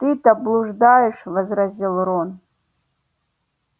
ты-то блуждаешь возразил рон